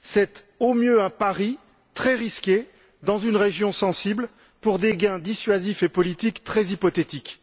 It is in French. C'est, au mieux, un pari, très risqué, dans une région sensible pour des gains dissuasifs et politiques très hypothétiques.